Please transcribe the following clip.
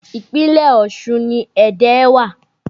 Ìpínlẹ̀ Ọ̀ṣun ni Ẹdẹ wa